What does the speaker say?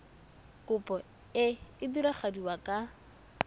kopo e e diragadiwa ka